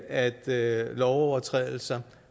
at lovovertrædelser